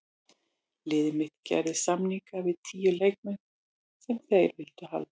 Liðið mitt gerði samninga við tíu leikmenn sem þeir vildu halda.